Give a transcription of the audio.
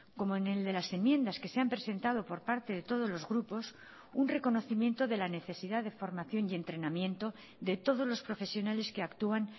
como en el de las enmiendas que se han presentado por parte de todos los grupos un reconocimiento de la necesidad de formación y entrenamiento de todos los profesionales que actúan